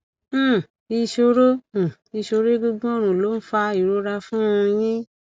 um ìṣòro um ìṣòro egungun ọrùn ló ń fa ìrora fún un yín